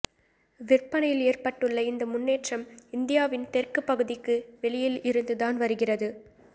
விற்பனையில் ஏற்பட்டுள்ள இந்த முன்னேற்றம் இந்தியாவின் தெற்கு பகுதிக்கு வெளியில் இருந்து தான் வருகிறது